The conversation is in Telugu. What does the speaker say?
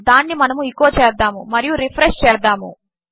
దానినిమనము ఎచో చేద్దాముమరియురిఫ్రెష్చేద్దాము